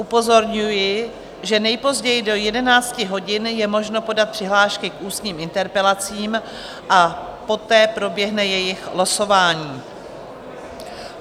Upozorňuji, že nejpozději do 11 hodin je možno podat přihlášky k ústním interpelacím, a poté proběhne jejich losování.